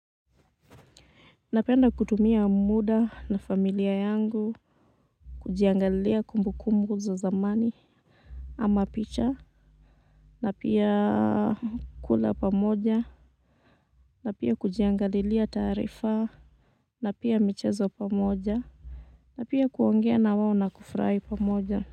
Napenda kutumia muda na familia yangu, kujiangalilia kumbukumbu za zamani, ama picha, na pia kula pamoja, na pia kujiangalilia taarifa, na pia michezo pamoja, na pia kuongea na wao na kufurahi pamoja.